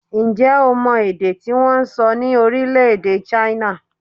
Ǹjẹ́ o mọ èdè tí wọ́n ń sọ ní orílẹ̀-èdè China?